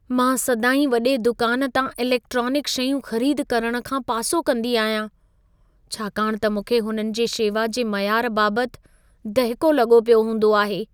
मां सदाईं वॾे दुकान तां इलेक्ट्रॉनिक शयूं ख़रीद करण खां पासो कंदी आहियां, छाकाणि त मूंखे हुननि जे शेवा जे मयार बाबतु दहिको लॻो पियो हूंदो आहे।